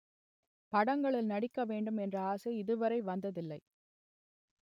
படங்களில் நடிக்க வேண்டும் என்ற ஆசை இதுவரை வந்ததில்லை